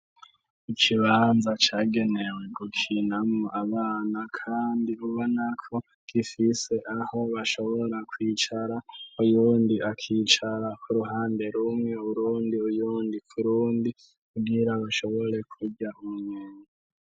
Ikibanza cagenewe gukinamo abana, kandi uba nako gifise aho bashobora kwicara uyundi akicara ku ruhande rumwe urundi uyundi kurundi ubwira bashobore kurya unyenye.